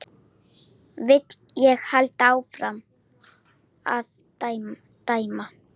Vil ég halda áfram að dæma?